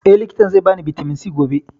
Eh, likitan zai ba ni bitamin C gobe